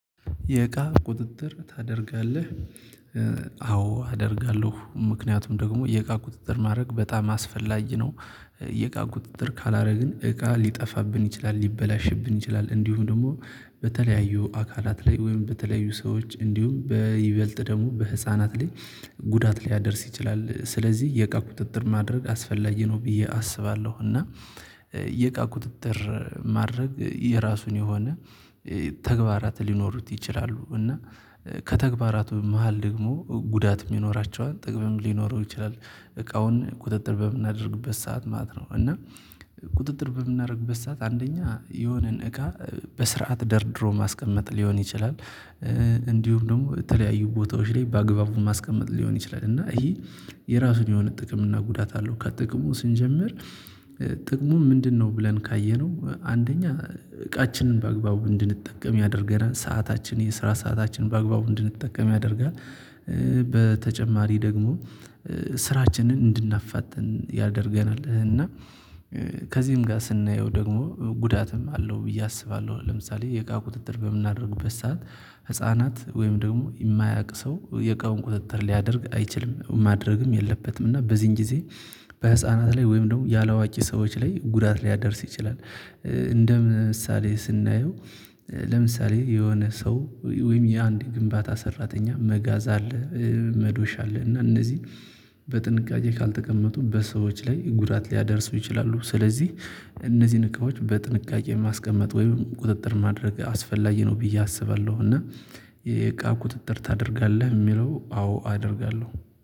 "የእቃ ቁጥጥር ታደርጋለህ?" አዎ አደርጋለሁ። ምክንያቱም ደግሞ የእቃ ቁጥጥር ማድረግ በጣም አስፈላጊ ነው። የእቃ ቁጥጥር ካላደረግን እቃ ሊጠፋብን ይችላል፣ ሊበላሽብን ይችላል፣ እንዲሁም ደግሞ በተለያዩ አካላት ላይ ወይም በተለያዩ ሰዎች እንዲሁም በይበልጥ ደግሞ በህፃናት ላይ ጉዳት ሊያደርስ ይችላል። ስለዚህ የእቃ ቁጥጥር ማድረግ አስፈላጊ ነው ብዬ አስባለሁ፤ እና የእቃ ቁጥጥር ማድረግ የራሱን የሆነ ተግባራት ሊኖሩት ይችላሉ፤ እና ከተግባራቱ መሃል ደግሞ ጉዳትም ይኖራቸዋል ጥቅምም ሊኖረው ይችላል እቃውን ቁጥጥር በምናደርግበት ሰዓት ማለት ነው፤ እና ቁጥጥር በምናደርግበት ሰዓት አንደኛ የሆነን እቃ በስርዓት ደርድሮ ማስቀመጥ ሊሆን ይችላል፤ እንዲሁም ደግሞ የተለያዩ ቦታዎች ላይ በአግባቡ ማስቀመጥ ሊሆን ይችላል፤ እና ይሄ የራሱን የሆነ ጥቅም እና ጉዳት አለው ከጥቅሙ ስንጀምር ጥቅሙ ምንድነው ብለን ካየነው አንደኛ እቃችንን በአግባቡ እንድንጠቀም ያደርገናል። ሰዓታችን የስራ ሰአታችንን በአግባቡ እንድንጠቀም ያደርጋል። በተጨማሪ ደግሞ ስራችንን እንድናፋጥን ያደርገናል እና ከዚህም ጋር ስናየው ደግሞ ጉዳትም አለው ብዬ አስባለሁ። ለምሳሌ የእቃ ቁጥጥር በምናደርግበት ሰዓት ህፃናት ወይም ደግሞ የማያውቅ ሰው የቃውን ቁጥጥር ሊያደርግ አይችልም ማድረግም የለበትም፤ እና በዚህን ጊዜ በህፃናት ላይ ወይም ደግሞ ያላዋቂ ሰዎች ላይ ጉዳት ሊያደርስ ይችላል። እንደ ምሳሌ ስናየው ለምሳሌ የሆነ ሰው ወይም የአንድ ግንባታ ሰራተኛ መጋዝ አለ መዶሻ አለ እና እነዚህ በጥንቃቄ ካልተቀመጡ በሰዎች ላይ ጉዳት ሊያደርሱ ይችላሉ። ስለዚህ እነዚህን እቃዎች በጥንቃቄ ማስቀመጥ ወይም ቁጥጥር ማድረግ አስፈላጊ ነው ብዬ አስባለሁ፤ እና "የእቃ ቁጥጥር ታደርጋለህ የሚለው?" አዎ አደርጋለሁ።